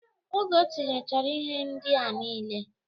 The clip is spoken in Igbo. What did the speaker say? Oge otinyechara ihe ndịa nile